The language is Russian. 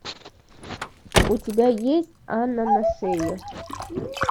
у тебя есть анна на шее